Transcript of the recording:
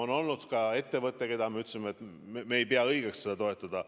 On olnud ka ettevõte, kelle kohta me ütlesime, et me ei pea õigeks seda toetada.